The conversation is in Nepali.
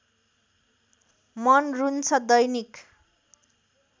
मन रुन्छ दैनिक